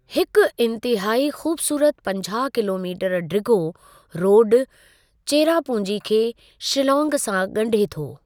हिक इंतहाई ख़ूबसूरत पंजाहु किलोमीटर डिघो रोडु चेरापूंजी खे शीलांग सां ॻंढे थो।